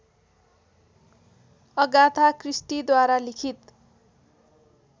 Agatha क्रिस्टीद्वारा लिखित